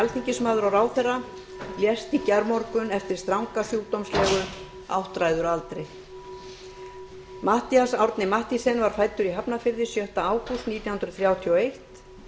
alþingismaður og ráðherra lést á sjúkrahúsi í gærmorgun eftir stranga sjúkdómslegu áttræður að aldri matthías árni mathiesen var fæddur í hafnarfirði sjötta ágúst nítján hundruð þrjátíu og eitt